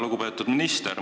Lugupeetud minister!